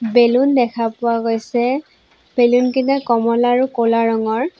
Balloon দেখা পোৱা গৈছে বেলুন কেইটা কমলা আৰু ক'লা ৰঙৰ।